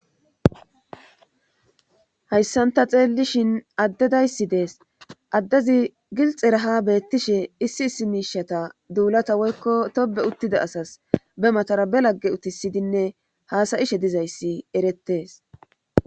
Hayssan ta xeellishin addedayssi dees addezi gilxeraha beettishe issi issi miishata duulata woykko tobe uttida asas be matara be lagge utisidinne haasayishe dizayssi erettees.